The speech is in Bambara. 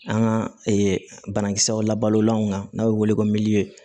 An ka banakisɛw labalolanw kan n'a bɛ wele ko miliyɔn